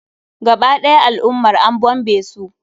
Gaba ɗaya al'ummar an bombe su.